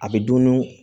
A bɛ dun